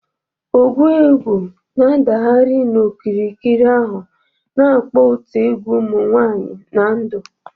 Ogwu egwu na-adagharị n'okirikiri ahụ, na-akpọ otu egwu ụmụ nwanyị na ndụ.